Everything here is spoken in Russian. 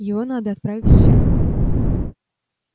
его надо отправить в тюрьму